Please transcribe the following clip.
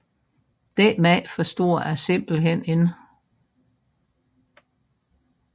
Den mand forstår jeg simpelthen ikke